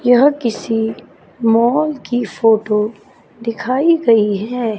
यह किसी माल की फोटो दिखाई गई है।